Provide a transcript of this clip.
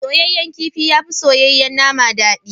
Soyayyen kifi yafi soyayyen nama dadi.